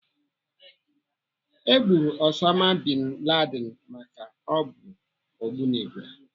E gburu Osama Bin Laden maka o bụ ogbunigwe.